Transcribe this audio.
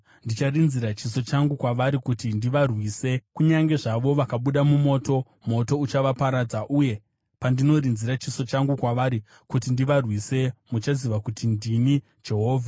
Ndicharinzira chiso changu kwavari kuti ndivarwise. Kunyange zvavo vakabuda mumoto, moto uchavaparadza. Uye pandinorinzira chiso changu kwavari kuti ndivarwise muchaziva kuti ndini Jehovha.